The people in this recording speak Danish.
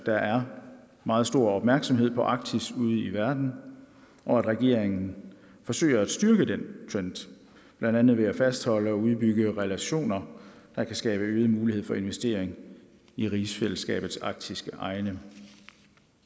der er meget stor opmærksomhed på arktis ude i verden og at regeringen forsøger at styrke den trend blandt andet ved at fastholde og udbygge relationer der kan skabe øget mulighed for investering i rigsfællesskabets arktiske egne